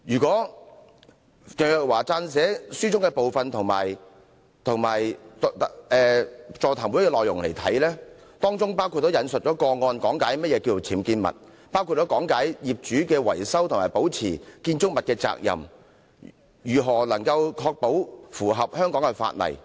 鄭若驊司長所撰寫的那本書和座談會的內容，均有引述個案講解何謂"僭建物"，包括業主維修及保持建築物的責任及如何才可以確保符合香港法例。